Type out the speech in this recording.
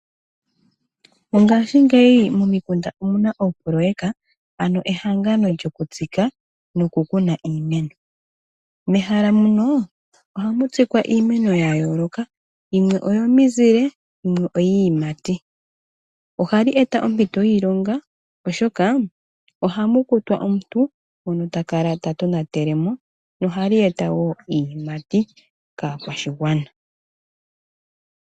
Mongaashingeyi momikunda omuna oopoloweka ano ehangano lyokutsika nokukuna iimeno. Mehala muno ohamu tsikwa iimeno yayooloka yimwe oyo mizile nayimwe oyiiyumati, ohali eta ompito yiilonga oshoka ohamu kutwa omuntu ngono ta kala ta tonatelemo nohali eta woo iiyimati kaakwashigwana.